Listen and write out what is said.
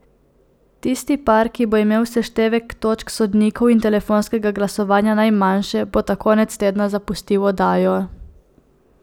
Tisti par, ki bo imel seštevek točk sodnikov in telefonskega glasovanja najmanjše, bo ta konec tedna zapustil oddajo.